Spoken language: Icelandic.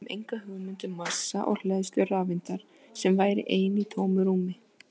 Við höfum enga hugmynd um massa og hleðslu rafeindar sem væri ein í tómu rúmi!